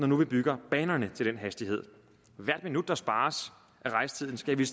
nu bygger banerne til den hastighed hvert minut der spares af rejsetiden skal vi